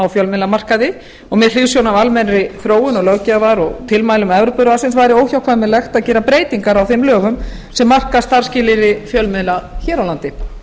fjölmiðlamarkaði og með hliðsjón af almennri þróun löggjafar og tilmælum evrópuráðsins væri óhjákvæmilegt að gera breytingar á þeim lögum sem marka starfsskilyrði fjölmiðla hér á landi